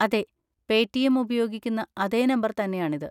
അതെ, Paytm ഉപയോഗിക്കുന്ന അതേ നമ്പർ തന്നെയാണിത്.